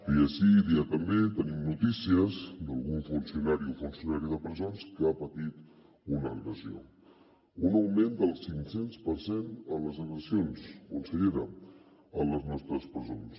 dia sí dia també tenim notícies d’algun funcionari o funcionària de presons que ha patit una agressió un augment del cinc cents per cent en les agressions consellera a les nostres presons